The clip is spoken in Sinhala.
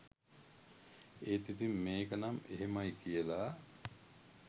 ඒත් ඉතින් මේකනම් එහෙමයි කියලා